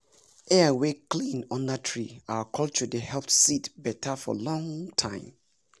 air wey clean under tree our culture dey help seed better for long time